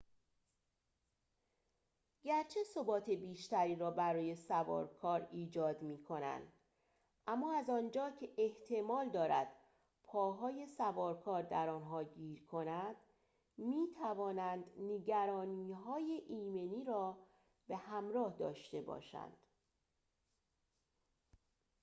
گرچه ثبات بیشتری را برای سوارکار ایجاد می‌کنند اما از آنجا که احتمال دارد پاهای سوارکار در آنها گیر کند می‌توانند نگرانی‌های ایمنی را به همراه داشته باشند